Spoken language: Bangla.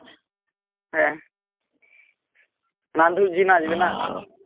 হ্যাঁ নাধুরজি নাচবে না